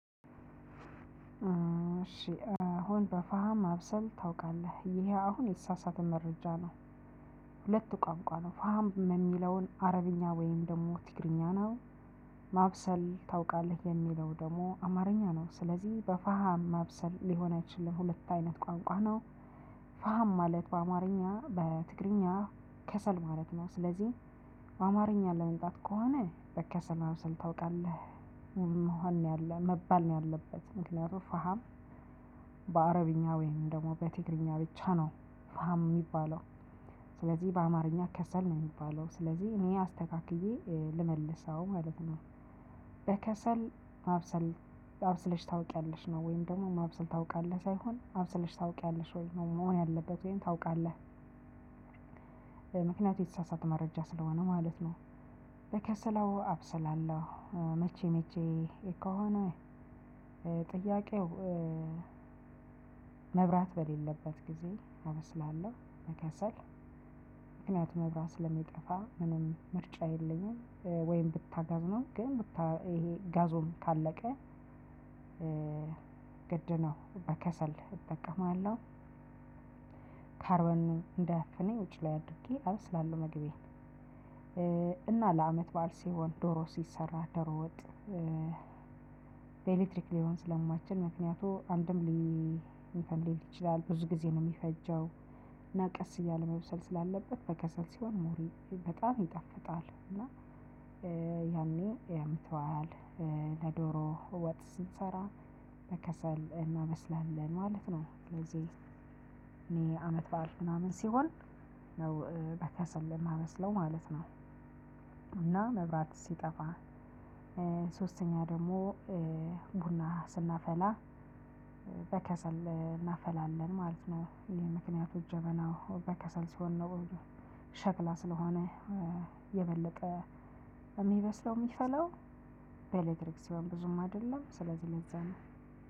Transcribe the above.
እሺ አሁን በፋሃም አብሰለህ ታውቃለህ? ይሄ አሁን የተሳሳተ መረጃ ነው። ሁለት ቋንቋ ነው ፋም የሚለውን አረብኛ ወይም ደግሞ ትግርኛ ነው። ማብሰል ታውቃለህ የሚለው ደግሞ አማርኛ ነው። ስለዚህ በፋሃም ማብሰል ሊሆን አይችልም ሁለት አይነት ቋንቋ ነው። ፋም ማለት በአማርኛ በትግርኛ ከሰል ማለት ነው። ስለዚህ አማርኛ ለመምጣት ከሆነ በከሰል ማብሰል ታውቃለህ መሆን ነው ያለው መባል ነው ያለበት። ምክንያቱም ፋሃም በአረብኛ ወይም ደግሞ በትግርኛ ብቻ ነው ፋሃም የሚባለው። ስለዚህ በአማርኛ ከሰል ነው የሚባለው ስለዚህ እኔ አስተካክዬ ልመልሰው ማለት ነው። በከሰል ማብሰል አብስለሽ ታውቂያለሽ ነው ወይም ደግሞ ማብሰል ታውቂያለሽ ሳይሆን ማብሰል ታውቂያለሽ ወይ መሆን ያለበት ወይም ታውቃለህ። ምክንያቱም የተሳሳተ መረጃ ስለሆነ ማለት ነው። በከሰል አዎ አብሰላለሁ። መቼ መቼ ከሆነ ነው ጥያቄው መብራት በሌለበት ጊዜ አብስላለሁ መከሰል ምክንያቱም መብራት ስለሚጠፋ ምንም ምርጫ የለኝም። ወይም ብታጋዝ ነው ግን ብታ ይሄ ጋዙን ካለቀ ግድ ነው በከሰል እጠቀማለሁ። ካርቦን እንዳያፍነኝ ውጪ ላይ አድርጌ አበስላለሁ መግቤን። እና ለአመት በዓል ሲሆን ዶሮ ሲሰራ ደሮ ወጥ በኤሌክትሪክ ሊሆን ስለማችል ምክንያቱም አንድም እንትን ሊል ይችላል ብዙ ጊዜ ነው የሚፈጀው። እና ቀስ እያለ መብሰል ስላለበት በከሰል ሲሆን ሞር በጣም ይጣፍጣል። እና ያኔ ለአመት በዓል ለዶሮ ወጥ ስንሰራ በከሰል እናበስላለን ማለት ነው። ስለዚህ እኔ አመት በዓል ምናምን ሲሆን ነው በከሰል የማብስለው ማለት ነው። እና መብራት ሲጠፋ ሶስተኛ ደግሞ ቡና ስናፈላ በከሰል እናፈላለን ማለት ነው። ይሄ ምክንያቱ እጀበናው በከሰል ስሆን ነው እንጂ ሸክላ ስለሆነ የበለጠ የሚበስለው የሚፈላው በኤሌክትሪክ ሲሆን ብዙም አይደለም ስለዚህ ለዛ ነው።